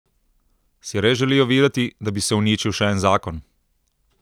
Si res želijo videti, da bi se uničil še en zakon?